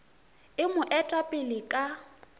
e mo eta pele ka